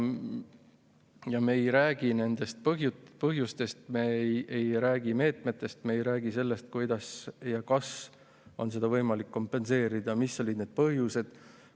Ja me ei räägi meetmetest, me ei räägi sellest, kuidas ja kas on seda võimalik kompenseerida, ega sellest, mis olid need põhjused.